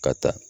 Ka taa